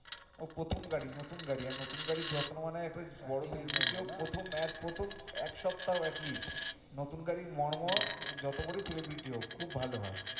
ওর প্রথম গাড়ি নতুন গাড়ি আর নতুন গাড়ির যত্ন মানে একটা বড় celebrity হোক প্রথম এক প্রথম এক সপ্তাহ at least নতুন গাড়ির মর্ম যত বড়োই celebrity হোক খুব ভালো হয়।